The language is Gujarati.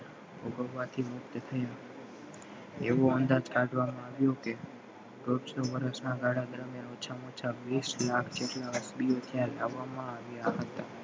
ભોગવવા થી મુક્ત થયા એવો અંદાજ કાઢવામાં આવ્યો કે દોઢસો વરસ ના ગાળા ઓછામાં ઓછા વીસ લાખ જેટલા લાવવામાં આવ્યા હતા